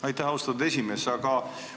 Aitäh, austatud esimees!